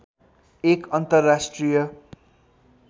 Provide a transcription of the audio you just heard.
एक अन्तर्राष्ट्रिय